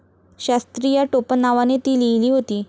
शास्त्री या टोपण नावाने ती लिहिली होती.